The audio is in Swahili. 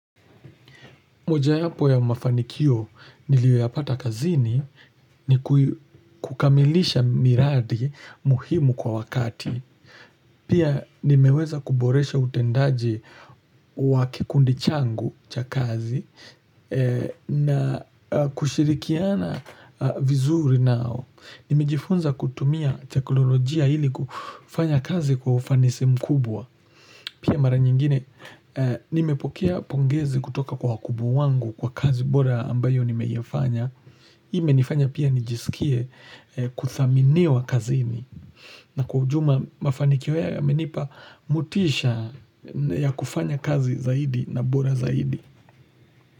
Moja yapo ya mafanikio niliyoyapata kazini ni kukamilisha miradi muhimu kwa wakati. Pia nimeweza kuboresha utendaji wa kikundi changu cha kazi na kushirikiana vizuri nao. Nimejifunza kutumia teknolojia ili kufanya kazi kwa ufanisi mkubwa. Pia mara nyingine, nimepokea pongezi kutoka kwa wakubwa wangu kwa kazi bora ambayo nimeifanya hii imenifanya pia nijisikie kuthaminiwa kazini na kwa ujuma mafanikio yamenipa motisha ya kufanya kazi zaidi na bora zaidi.